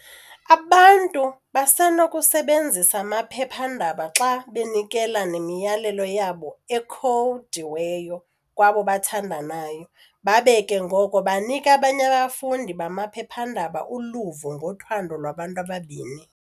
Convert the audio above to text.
Abantu basenokusebenzisa amaphepha-ndaba xa benikela memiyalezo yabo ekhowudiweyo kwabo babathandayo, babe ke ngoko banika abanye abafundi bamaphepha-ndaba uluvo ngothando lwabantu ababini.